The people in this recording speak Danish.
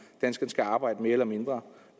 danskerne skal arbejde mere eller mindre